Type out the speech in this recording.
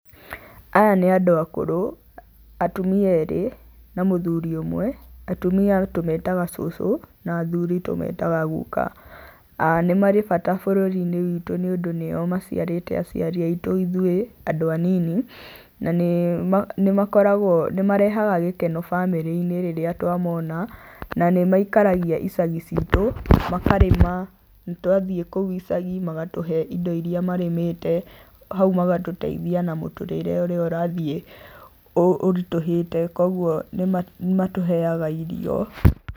Aya nĩ andũ akũrũ, atumia erĩ na mũthuri ũmwe, atumia tũmetaga cũcũ na athuri tũmetaga guka. Nĩ marĩ bata bũrũri-inĩ witũ nĩũndũ nĩo maciarĩte aciari aitũ ithuĩ andũ anini na nĩmakoragwo, nĩmarehaga gĩkeno bamĩrĩ-inĩ rĩrĩa twamona na nĩmaikaragia icagi citũ, makarĩma, na twathiĩ kũu icagi magatũhe indo iria marĩmĩte, hau magatũteithia na mũtũrĩre ũrĩa ũrathiĩ ũritũhĩte koguo nĩmatũheaga irio.